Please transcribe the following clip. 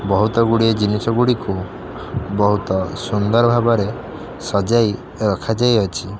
ବୋହୁତ ଗୁଡିଏ ଜିନିଷ ଗୁଡ଼ିକୁ ବୋହୁତ ସୁନ୍ଦର ଭାବରେ ସଜାଇ ରଖା ଯାଇ ଅଛି।